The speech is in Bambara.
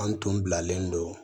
An tun bilalen don